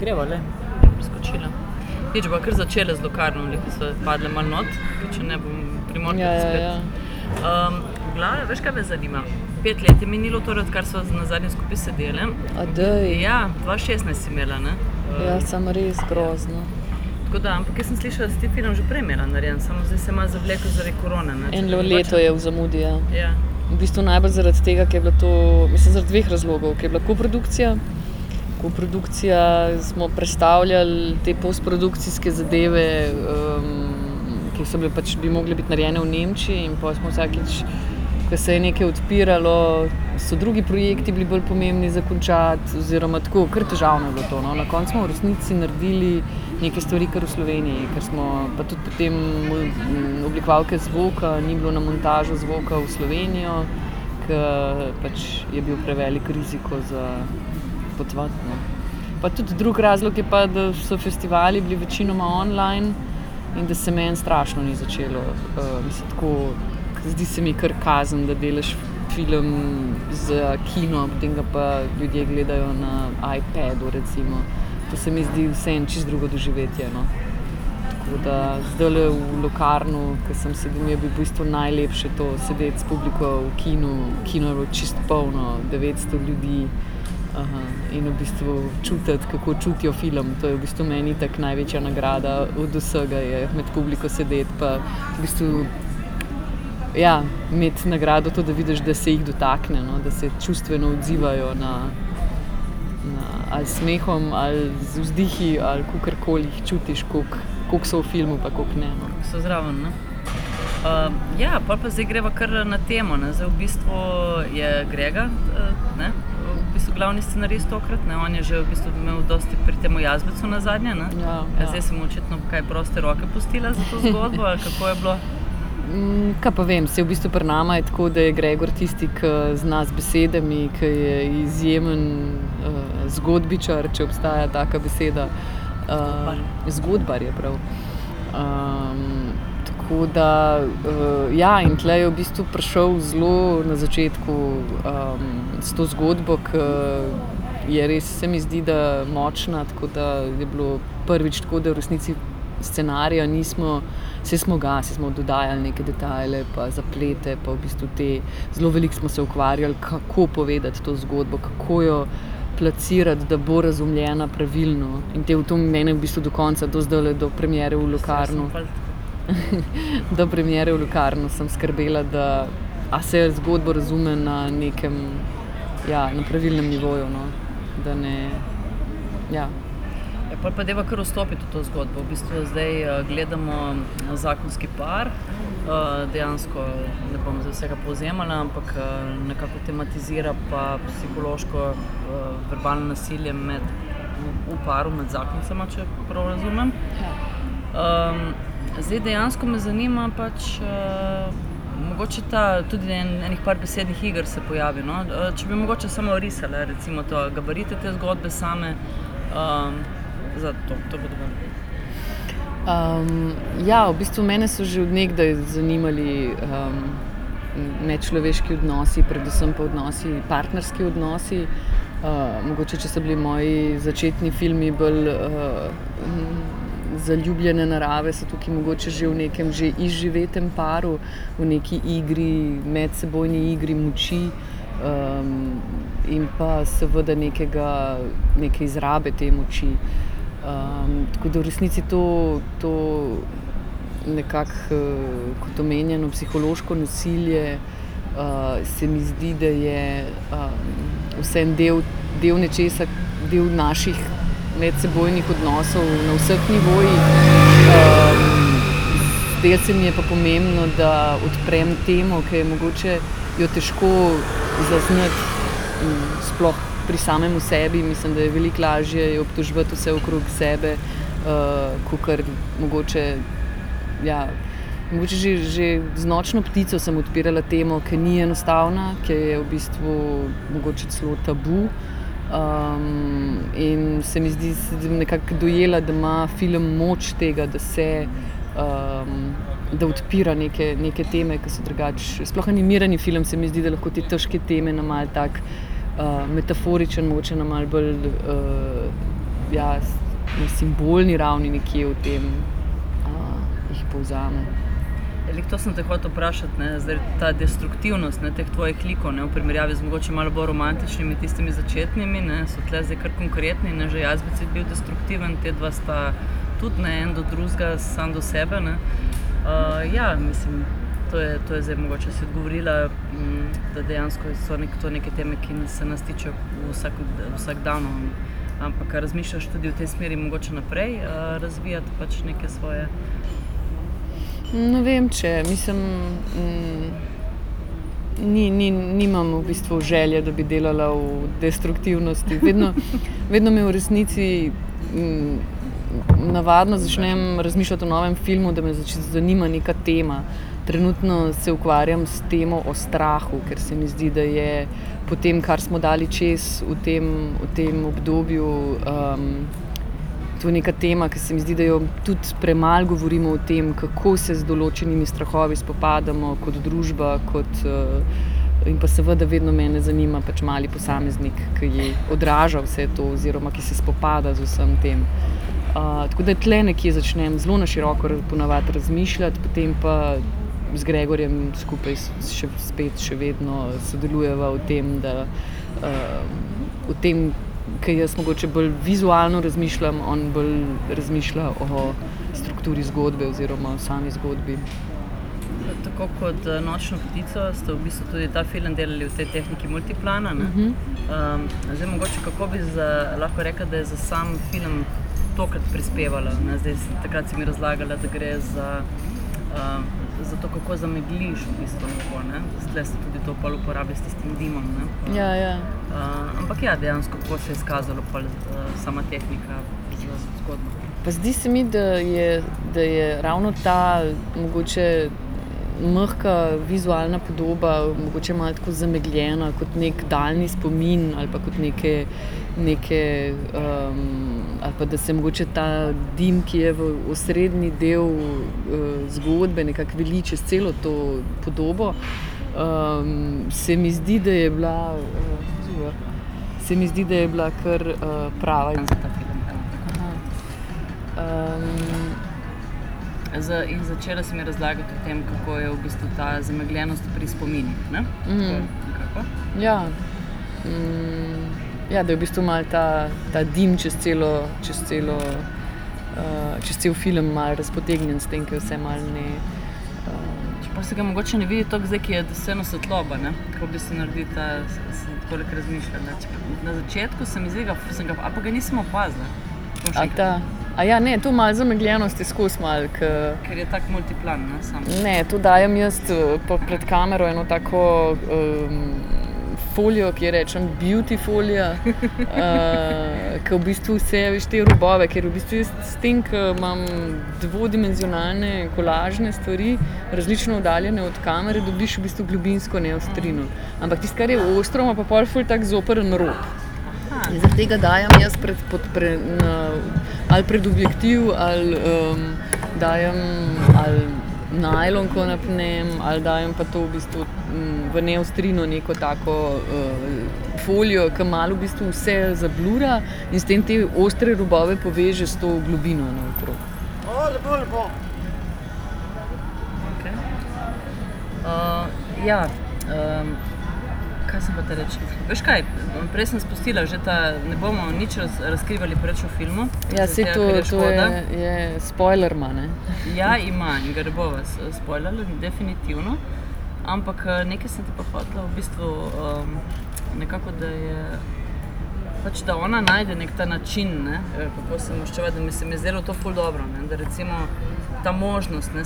greva, ne. Je preskočila. Nič, bova kar začele z Locarnom, ke so padle malo not, če ne bom ... Primorke spet. Ja, ja, ja. v glavnem, veš, kaj me zanima? Pet let je minilo torej, odkar sva nazadnje skupaj sedeli. daj. Ja. Dva šestnajst si imela, ne? Ja, samo res. Grozno. Tako da ... Ampak jaz sem slišala, da si ti film že prej imela narejen, samo zdaj se je malo zavleklo zaradi korone, ne. Eno leto je v zamudi, ja. Ja. V bistvu najbolj zaradi tega, ker je bila to, mislim, zaradi dveh razlogov. Ko je bila koprodukcija, koprodukcija, smo prestavljali te postprodukcijske zadeve, ki so bile pač, bi mogle biti narejene v Nemčiji, in pol smo vsakič, ko se je nekaj odpiralo, so drugi projekti bili bolj pomembni za končati oziroma tako, kar težavno je bilo to, no. Na koncu smo v resnici naredili neke stvari kar v Sloveniji, kar smo ... Pa tudi potem oblikovalke zvoka ni bilo na montažo zvoka v Slovenijo, ke pač je bil prevelik riziko za potovati, ne. Pa tudi drugi razlog je pa, da so festivali bili večinoma online in da se meni strašno ni začelo, mislim, tako, zdi se mi kar kazen, da delaš film za kino, potem ga pa ljudje gledajo na iPadu recimo. To se mi zdi vseeno čisto drugo doživetje, no. Tako da zdajle v Locarnu, ker sem si, mi je bilo v bistvu najlepše to, sedeti s publiko v kinu, kino je bil čisto poln, devetsto ljudi. in v bistvu čutiti, kako čutijo film. To je v bistvu meni itak največja nagrada od vsega, je med publiko sedeti pa v bistvu, ja, imeti nagrado to, da vidiš, da se jih dotakne, no, da se čustveno odzivajo na, na ali s smehom ali z vzdihi ali kakorkoli jih čutiš, koliko, kako so v filmu pa kako ne, no. So zraven, ne? ja, pol pa zdaj greva kar na temo, ne. Zdaj v bistvu je Grega, ne, v bistvu glavni scenarist tokrat, ne. On je že v bistvu imel dosti pri temu Jazbecu nazadnje, ne? Ja. In zdaj si mu očitno, kaj, proste roke pustila za to zgodbo ali kako je bilo? kaj pa vem. Saj v bistvu pri naju je tako, da je Gregor tisti, ki zna z besedami, ki je izjemen, zgodbičar, če obstaja taka beseda. zgodbar je prav. tako da, ja, in tule je v bistvu prišlo zelo na začetku, s to zgodbo, ke je res, se mi zdi, da močna. Tako da je bilo prvič tako, da v resnici scenarija nismo, saj smo ga, saj smo dodajali neke detajle pa zaplete pa v bistvu te, zelo veliko smo se ukvarjali, kako povedati to zgodbo, kako jo plasirati, da bo razumljena pravilno. In to mene v bistvu do konca, do zdajle, do premiere v Locarnu, do premiere v Locarnu sem skrbela, da a se zgodba razume na nekem, ja, na pravilnem nivoju, no. Da ne, ja. Ja, pol pa dajva kar vstopiti v to zgodbo. V bistvu zdaj, gledamo zakonski par, dejansko ne bom zdaj vsega povzemala, ampak, nekako tematizira pa psihološko, verbalno nasilje med v paru med zakoncema, če prav razumem. Ja. zdaj, dejansko me zanima pač, mogoče ta, tudi ene par besednih iger se pojavi, no. če bi mogoče samo orisala recimo to, gabarite te zgodbe same, za to, to bo dovolj. ja, v bistvu mene so že od nekdaj zanimali, medčloveški odnosi, predvsem pa odnosi, partnerski odnosi. mogoče, če so bili moji začetni filmi bolj, zaljubljene narave, so tukaj mogoče že v nekem že izživetem paru, v neki igri, medsebojni igri moči. in pa seveda nekega, neke izrabe te moči. tako da v resnici to, to nekako, kot omenjeno psihološko nasilje, se mi zdi, da je, vseeno del, del nečesa del naših medsebojnih odnosov na vseh nivojih. zdelo se mi je pa pomembno, da odprem temo, ki je mogoče jo težko zaznati, sploh pri samem sebi. Mislim, da je veliko lažje je obtoževati vse okrog sebe, kakor mogoče ja, mogoče že, že z Nočno ptico sem odpirala temo, ki ni enostavna, ki je v bistvu mogoče celo tabu, in se mi zdi, sem nekako dojela, da ima film moč tega, da se, da odpira neke, neke teme, ki so drugače ... Sploh animirani film se mi zdi, da lahko te težke teme na malo tak, metaforičen, mogoče na malo bolj, ja, na simbolni ravni nekje o tem, jih povzamem. Ja, glih to sem te hotela vprašati, ne. Zdaj, ta destruktivnost, ne, teh tvojih likov, ne, v primerjavi z mogoče malo bolj romantičnimi tistimi začetnimi, ne, so tule zdaj kar konkretni, ne. Že Jazbec je bil destruktiven, ta dva sta tudi, ne, en do drugega, sam do sebe, ne. ja, mislim to je, to zdaj mogoče si odgovorila, da dejansko so to neke teme, ki ki dejansko se nas tičejo v v vsakdanu. Ampak, a razmišljaš tudi v tej smeri mogoče naprej, razvijati pač neke svoje? Ne vem, če. Mislim, nimam v bistvu želje, da bi delala v destruktivnosti. Vedno, vedno me v resnici, navadno začnem razmišljati o novem filmu, da me zanima neka tema. Trenutno se ukvarjam s temo o strahu, ker se mi zdi, da je po tem, kar smo dali čez v tem, v tem obdobju, to je neka tema, ke se mi zdi, da jo tudi premalo govorimo o tem, kako se z določenimi strahovi spopadamo kot družba, kot, in pa seveda vedno mene zanima pač mali posameznik, ki odraža vse to oziroma ki se spopada z vsem tem. tako da tule nekje začnem, zelo na široko ponavadi razmišljati, potem pa z Gregorjem skupaj spet še vedno sodelujeva v tem, da, v tem, ker jaz mogoče bolj vizualno razmišljam, on bolj razmišlja o strukturi zgodbe oziroma o sami zgodbi. Tako kot Nočno ptico ste v bistvu tudi ta film delali v tej tehniki multiplana, ne? zdaj mogoče, kako bi lahko rekla, da je za sam film tokrat prispevalo, ne. Zdaj takrat si mi razlagala, da gre za, za to, kako zamegliš v bistvu nebo, ne. Tule ste tudi to pol uporabili s tistim dimom, ne. Ja, ja. Ampak ja, dejansko, kako se je izkazalo pol sama tehnika v zgodbi? Pa zdi se mi, da je, da je ravno ta mogoče mehka vizualna podoba, mogoče malo tako zamegljena kot neki daljni spomin ali pa kot neke, neke, ali pa da se mogoče ta dim, ki je v osrednji del, zgodbe nekako vali čez celo to podobo, se mi zdi, da je bila, to, se mi zdi, da je bila kar, prava izbira. in začela si mi razlagati o tem, kako je v bistvu ta zamegljenost tudi pri spominih, ne. To je nekako. Ja. ja, da je v bistvu malo ta, ta dim čez celo, čez celo, čez cel film malo razpotegnjen s tem, ke se malo ne Pa se ga mogoče ne vidi tako zdaj, ko je vseeno svetloba, ne. Tako v bistvu naredi ta, sem tako neki razmišljala. Na začetku se mi zdi da, sem ga, ali pa ga nisem opazila. A ta ... ne, to malo zamegljenosti skoz malo, ke ... Kar je tako multiplan, ne samo. Ne, to dajem jaz pol pred kamero eno tako, folijo, ki ji rečem beauty folija, ke v bistvu vse, a veš, te odboje, ke v bistvu s tem, ke imam dvodimenzionalne kolažne stvari, različno oddaljene od kamere, dobiš v bistvu globinsko neostrino. Ampak tisto, kar je ostro, ima pa pol ful tak zoprn rob. In zaradi tega dajem jaz pod na, ali pred objektiv ali, dajem ali najlonko napnem ali dajem pa to v bistvu, v neostrino neko tako, folijo, ke malo v bistvu vse zablura in s tem te ostre robove poveže s to globino naokrog. Okej. ja, kaj sem hotela reči? Veš, kaj? Prej sem spustila že ta, ne bomo nič razkrivali preveč o filmu, Ja, saj to, to je ... ker je škoda. Je, spoiler ima, ne. Ja, ima in ga ne bova spoilale, definitivno. Ampak, nekaj sem te pa hotela v bistvu, nekako, da je pač da ona najde neki ta način, ne, kako se mu maščevati, in se mi je zdelo to ful dobro, ne. Recimo ta možnost, ne